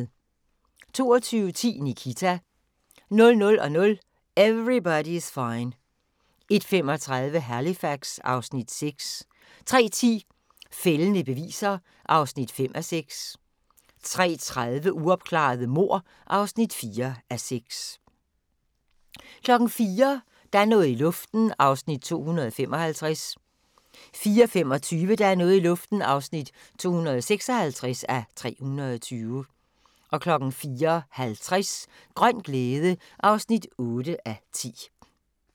22:10: Nikita 00:00: Everybody's Fine 01:35: Halifax (Afs. 6) 03:10: Fældende beviser (5:6) 03:30: Uopklarede mord (4:6) 04:00: Der er noget i luften (255:320) 04:25: Der er noget i luften (256:320) 04:50: Grøn glæde (8:10)